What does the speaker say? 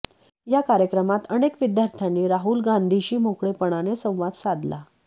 या कार्यक्रमात अनेक विद्यार्थ्यांनी राहुल गांधींशी मोकळेपणाने संवाद साधला